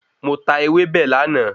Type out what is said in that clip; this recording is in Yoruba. Mo tà ewébẹ̀ láàná